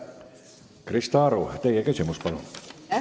Krista Aru, teie küsimus, palun!